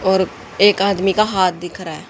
और एक आदमी का हाथ दिख रहा है।